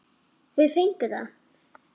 Þau fengu það.